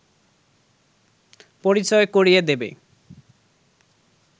পরিচয় করিয়ে দেবে